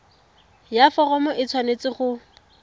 ya foromo e tshwanetse go